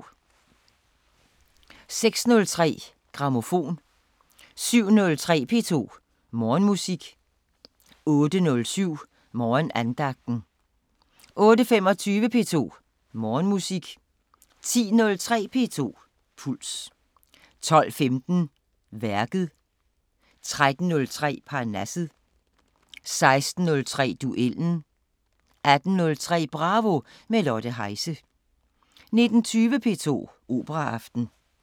06:03: Grammofon 07:03: P2 Morgenmusik 08:07: Morgenandagten 08:25: P2 Morgenmusik 10:03: P2 Puls 12:15: Værket 13:03: Parnasset 16:03: Duellen 18:03: Bravo – med Lotte Heise 19:20: P2 Operaaften